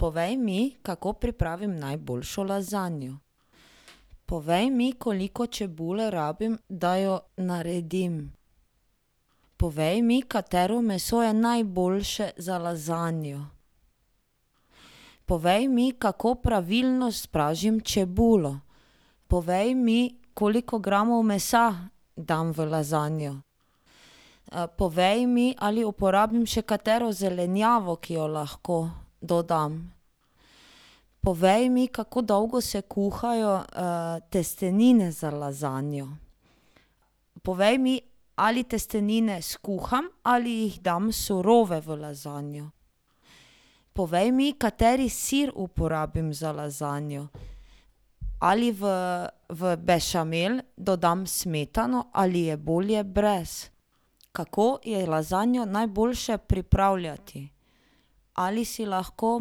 Povej mi, kako pripravim najboljšo lazanjo. Povej mi, koliko čebule rabim, da jo naredim. Povej mi, katero meso je najboljše za lazanjo. Povej mi, kako pravilno spražim čebulo. Povej mi, koliko gramov mesa dam v lazanjo. povej mi, ali uporabim še katero zelenjavo, ki jo lahko dodam. Povej mi, kako dolgo se kuhajo, testenine za lazanjo. Povej mi, ali testenine skuham ali jih dam surove v lazanjo. Povej mi, kateri sir uporabim za lazanjo. Ali v, v bešamel dodam smetano ali je bolje brez? Kako je lazanjo najboljše pripravljati? Ali si lahko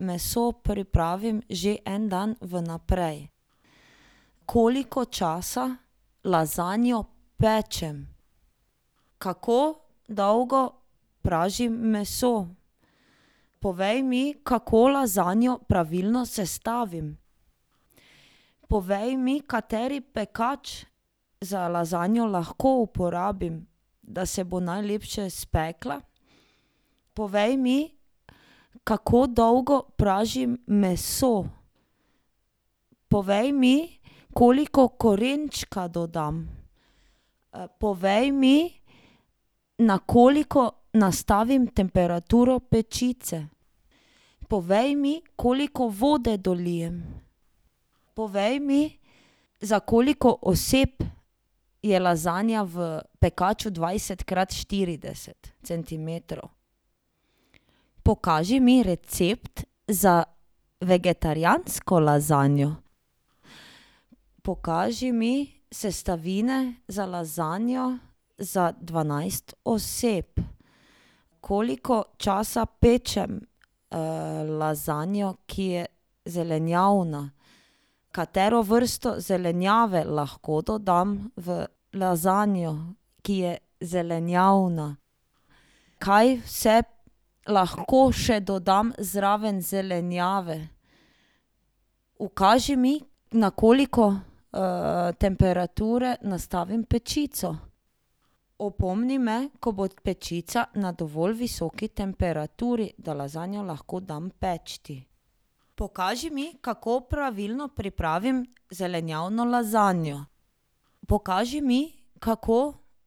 meso pripravim že en dan vnaprej? Koliko časa lazanjo pečem? Kako dolgo pražim meso? Povej mi, kako lazanjo pravilno sestavim. Povej mi, kateri pekač za lazanjo lahko uporabim, da se bo najlepše spekla. Povej mi, kako dolgo pražim meso. Povej mi, koliko korenčka dodam. povej mi, na koliko nastavim temperaturo pečice. Povej mi, koliko vode dolijem. Povej mi, za koliko oseb je lazanja v pekaču dvajset krat štirideset centimetrov. Pokaži mi recept za vegetarijansko lazanjo. Pokaži mi sestavine za lazanjo za dvanajst oseb. Koliko časa pečem, lazanjo, ki je zelenjavna? Katero vrsto zelenjave lahko dodam v lazanjo, ki je zelenjavna? Kaj vse lahko še dodam zraven zelenjave? Ukaži mi, na koliko, temperature nastavim pečico. Opomni me, ko bo pečica na dovolj visoki temperaturi, da lazanjo lahko dam peči. Pokaži mi, kako pravilno pripravim zelenjavno lazanjo. Pokaži mi, kako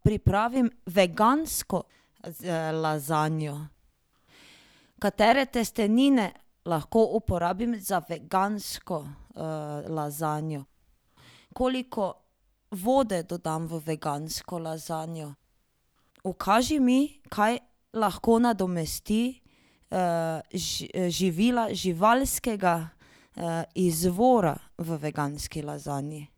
pripravim vegansko lazanjo. Katere testenine lahko uporabim za vegansko, lazanjo? Koliko vode dodam v vegansko lazanjo? Ukaži mi, kaj lahko nadomesti, živila živalskega, izvora v veganski lazanji.